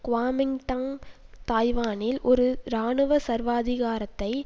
Kuomintang தாய்வானில் ஒரு இராணுவ சர்வாதிகாரத்தை